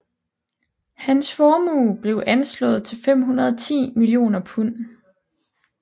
Hans formue blev anslået til 510 millioner pund